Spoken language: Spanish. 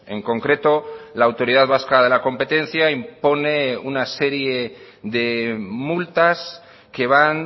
en concreto la autoridad vasca de la competencia impone una serie de multas que van